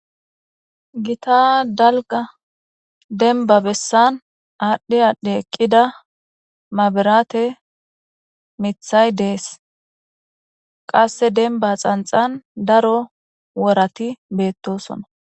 gita dalga denba bessan aadhdhi aadhe eqqida mabiraate mithay dees qasse denba xanxan daro worati beettosona